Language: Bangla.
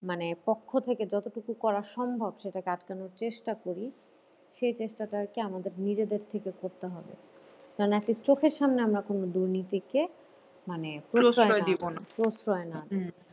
মানে পক্ষ থেকে যতটুকু করা সম্ভব সেটাকে আটকানোর চেষ্টা করি সেই চেষ্টাটা আর কি আমাদের নিজেদের থেকে করতে হবে। কারণ কি চোখের সামনে আমরা কোনো দুর্নীতিকে মানে প্রশয় না দেওয়া